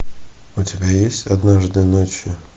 у тебя есть однажды ночью